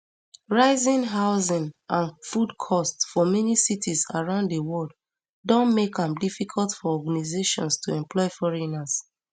rising housing and food cost for many cities around di world don make am difficult for organizations to employ foreigners